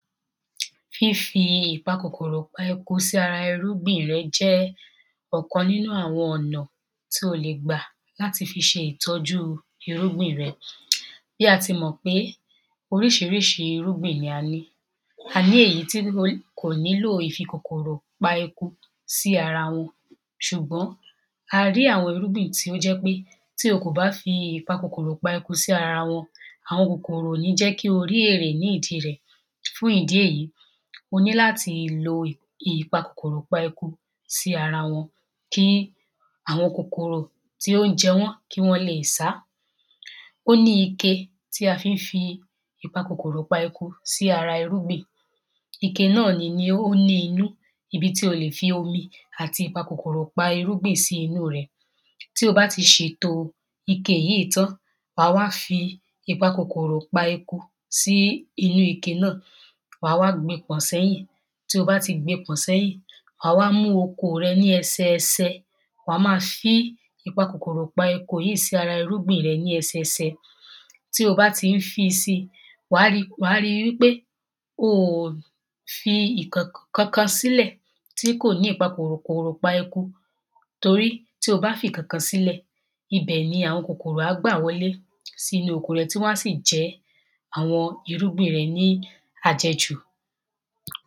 Fífi ìpakòkòrò-pa-eku sí ara irúgbìn rẹ jẹ́ ọ̀kan nínú àwọn ọ̀nà tí o le gbà láti fi ṣe ìtọ́jú irúbìn rẹ Bí a ti mọ̀ pé oríṣiríṣi irúgbìn ni a ní A ní èyí tí kò nílòo ìfi k̀okòrò pa eku sí ara wọn ṣùgbọ́n a rí àwọn irúgbìn tí ó jẹ́ pé tí o kò bá fi ìpakòkòrò-pa-eku sí ara wọn àwọn kòkòrò ò ní jẹ́ kí o rí èrè ní ìdí rẹ̀ Fún ìdí èyí o ní láti lo ìpakòkòrò-pa-eku sí ara wọn kí àwọn kòkòrò tí ó ń jẹ wọ́n kí wọ́n lè sá Ó ní ike tí a fi ń fi ìpakòkòrò-pa-eku sí ara irúgbìn Ike náà nini ó ní inú ibi tí o lè fi omi àti ìpakòkòrò pa irúgbìn sí inú rẹ̀ Tí o bá ti ṣètò ike yìí tán wà wá fi ìpakòkòrò-pa-eku sí inú ike náà Wà wá gbe pọ̀n sẹ́yìn Tí o bá ti gbe pọ̀n sẹ́yìn wà wá mú oko rẹ ní ẹsẹẹsẹ wà ma fíí ìpakòkòrò-pa-eku yìí sí ara irúgbìn rẹ ní ẹsẹẹsẹ Tí o bá ti ń fíi si wà ri wà ri wípé o ò fi ǹkan nǹkankan sílẹ̀ tí ò ní ìpakòkòrò-pa-eku Tórí tí o bá fi ìkankan sílẹ̀ ibẹ̀ ni àwọn kòkòrò á gbà wọlé sínú oko rẹ tí wọ́n a sì jẹ àwọn irúgbìn rẹ ni àjẹjú